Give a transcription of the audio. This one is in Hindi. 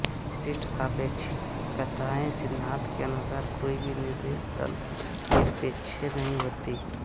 विशिष्ट आपेक्षिकता सिद्धांत के अनुसार कोई भी निर्देश तंत्र निरपेक्ष नहीं होती